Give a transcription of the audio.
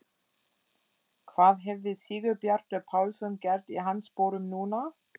Hvað hefði Sigurbjartur Pálsson gert í hans sporum núna?